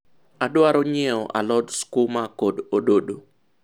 adwaro nyieo alod sukuma kod ododo